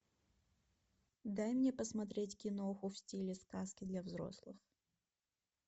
дай мне посмотреть киноху в стиле сказки для взрослых